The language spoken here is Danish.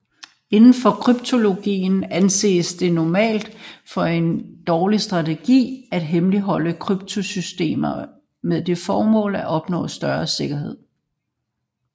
Inden for kryptologien anses det normalt for en dårlig strategi at hemmeligholde kryptosystemet med det formål at opnå større sikkerhed